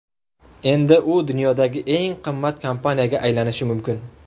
Endi u dunyodagi eng qimmat kompaniyaga aylanishi mumkin.